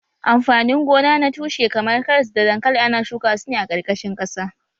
Amfanin gona na tushe kamar karas da dankali ana shuka su ne a ƙarƙashin ƙasa